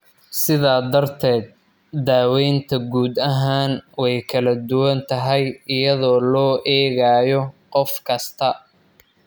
Sidaa darteed, daawaynta guud ahaan way kala duwan tahay iyadoo loo eegayo qof kasta.